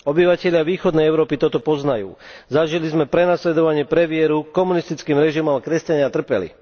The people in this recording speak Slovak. Obyvatelia východnej Európy toto poznajú, zažili sme prenasledovanie pre vieru komunistickým režimom a kresťania trpeli.